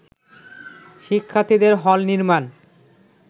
শিক্ষার্থীদের হল নির্মাণ